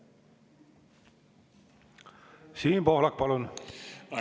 Siim Pohlak, palun!